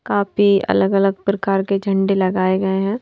काफी अलग-अलग प्रकार के झंडे लगाए गए हैं।